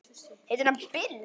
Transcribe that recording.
Heitir hann Bill?